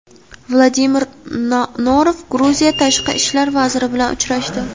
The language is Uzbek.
Vladimir Norov Gruziya tashqi ishlar vaziri bilan uchrashdi.